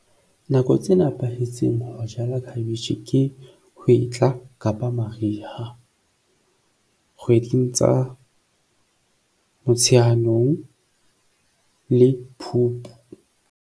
Nako tse nepahetseng ho jala khabetjhe ke hwetla kapa mariha, kgweding tsa Motsheanong le Phupu.